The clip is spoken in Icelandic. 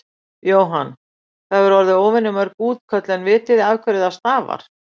Jóhann: Það hafa orði óvenju mörg útköll en vitið þið af hverju það stafar?